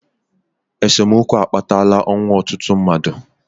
esemokwu akpatala ọnwụ ọtụtụ mmadụ